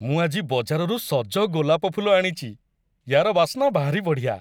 ମୁଁ ଆଜି ବଜାରରୁ ସଜ ଗୋଲାପ ଫୁଲ ଆଣିଚି । ୟା'ର ବାସ୍ନା ଭାରି ବଢ଼ିଆ ।